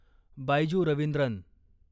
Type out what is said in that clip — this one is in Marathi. बायजू रवींद्रन